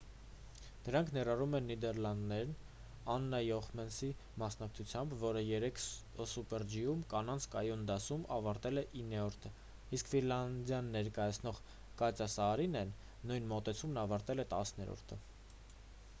դրանք ներառում են նիդեռլանդներն աննա յոխեմսենի մասնակցությամբ որը երեկ սուպեր ջի-ում կանանց կայուն դասում ավարտել է իններորդը իսկ ֆինլանդիան ներկայացնող կատյա սաարինեն նույն մոտեցումն ավարտել է տասներորդը